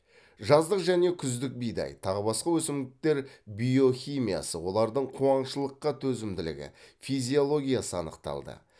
жаздық және күздік бидай тағы басқа өсімдіктер биохимиясы олардың қуаңшылыққа төзімділігі физиологиясы анықталды